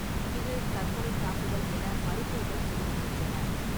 இது தற்கொலைத்தாக்குதல் என அறிக்கைகள் தெரிவிக்கின்றன.